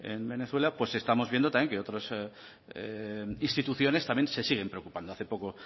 en venezuela estamos viendo también que otras instituciones se siguen preocupando hace poco